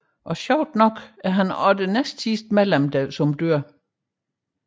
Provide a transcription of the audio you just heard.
Og sjovt nok er han også det næstsidste medlem der dør